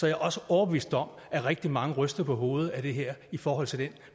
jeg også overbevist om at rigtig mange ryster på hovedet af det her i forhold til den